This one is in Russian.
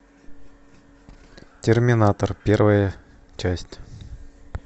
терминатор первая часть